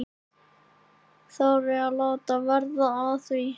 Þarf ég þá að láta verða að því?